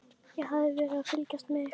Ég hafði verið að fylgjast með ykkur.